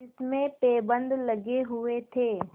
जिसमें पैबंद लगे हुए थे